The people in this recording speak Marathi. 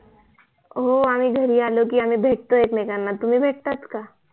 हो आम्ही घरी आलोकी भेटतो एकमेकांना तुम्ही भेटतात का